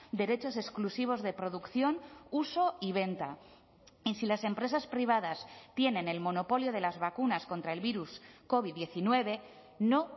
derechos exclusivos de producción uso y venta y si las empresas privadas tienen el monopolio de las vacunas contra el virus covid diecinueve no